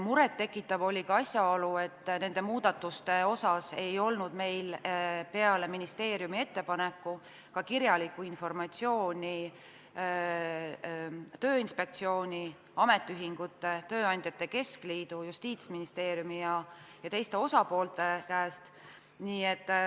Murettekitav oli ka asjaolu, et nende muudatuste kohta ei olnud meil peale ministeeriumi ettepaneku kirjalikku informatsiooni ei Tööinspektsiooni, ametiühingute, tööandjate keskliidu, Justiitsministeeriumi ega teiste osapoolte käest.